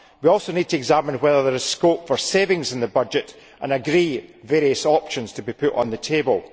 We also need to examine whether there is scope for savings in the budget and agree various options to be put on the table.